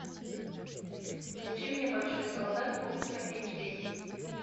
включи мне большой солдат ультра эйч ди